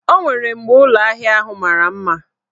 O nwere mgbe ụlọahịa ahụ mara mma.